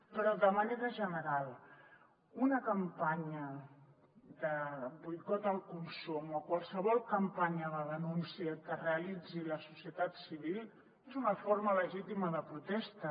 però de manera general una campanya de boicot al consum o qualsevol campanya de denúncia que realitzi la societat civil és una forma legítima de protesta